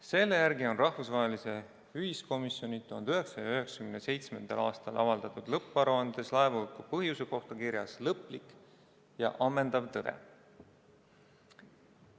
Selle järgi on rahvusvahelise ühiskomisjoni 1997. aastal avaldatud lõpparuandes laevahuku põhjuse kohta kirjas lõplik ja ammendav tõde.